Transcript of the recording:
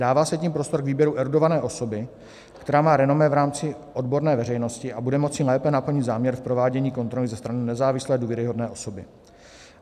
Dává se tím prostor k výběru erudované osoby, která má renomé v rámci odborné veřejnosti a bude moci lépe naplnit záměr v provádění kontroly ze strany nezávislé důvěryhodné osoby.